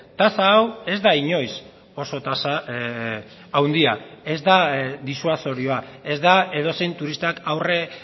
tasa hau ez da inoiz oso tasa handia ez da disuasorioa ez da edozein turistak aurre